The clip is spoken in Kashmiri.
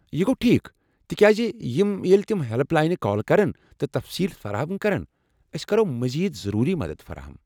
یہِ گو٘و ٹھیک تِکیازِ یمہٕ ییٚلہ تِم ہیلپ لاینہِ کال کرن تہٕ تفصیٖل فراہم کرن، أسۍ کرو مزید ضروری مدتھ فراہم۔